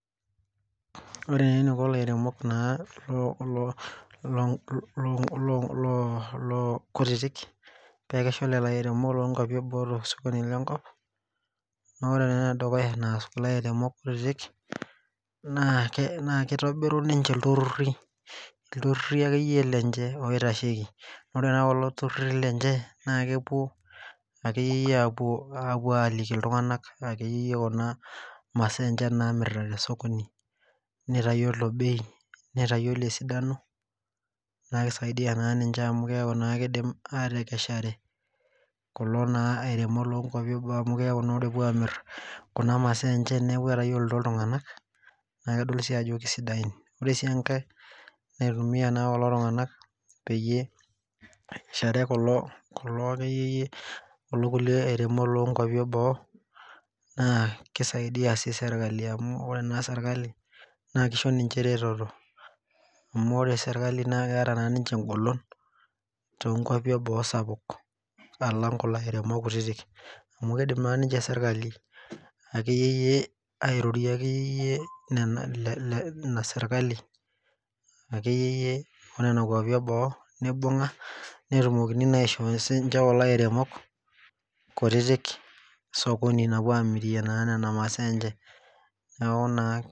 Ore neniko ilairemok naa loo kutitik pekesha olelo airemok lonkwapi eboo tosokoni lenkop, nore naa enedukuya naas kulo airemok kutitik, naa kitobiru ninche ilturrurri, ilturrurri akeyie lenche loitasheki. Nore naa kulo turrurri lenche, naa kepuo akeyieyie apuo aliki iltung'anak akeyie kun masaa enche namirta tesokoni. Nitayiolo bei, nitayiolo esidano, naisaidia naa ninche amu keeku naa kidim atekeshare kulo naa airemok lonkwapi ebaa amu ore epoito amir kunaa masaa enche neeku etayiolito iltung'anak na kedol si ajo kisidain. Ore si enkae naitumia kulo tung'anak peyie ekeshare kulo akeyieyie kulo kulie airemok lonkwapi eboo, naa kisaidia si serkali amu ore naa serkali, naa kisho ninche ereteto. Amu ore serkali na keeta naa ninche egolon, tonkwapi eboo sapuk alang kulo airemok kutitik. Amu kidim ninche sirkali akeyie airorie akeyieyie nena ina serkali akeyieyie onena kwapi eboo, nibung'a, netumokini naa aisho sinche kulo airemok kutitik esokoni napuo amirie naa nena masaa enche. Neeku naa